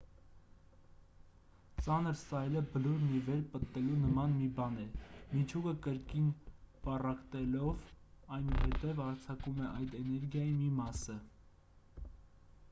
ծանր սայլը բլուրն ի վեր պտտելու նման մի բան է միջուկը կրկին պառակտելով այնուհետև արձակում է այդ էներգիայի մի մասը